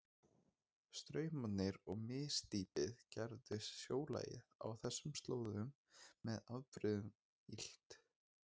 Straumarnir og misdýpið gerðu sjólagið á þessum slóðum með afbrigðum illt.